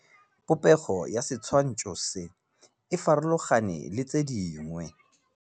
Popêgo ya setshwantshô se, e farologane le tse dingwe.